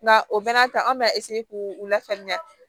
Nka o bɛɛ n'a ta an b'a k'u u lafaamuya